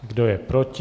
Kdo je proti?